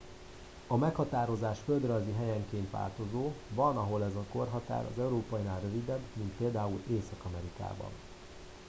a meghatározás földrajzi helyenként változó van ahol ez a korhatár az európainál rövidebb mint például észak amerikában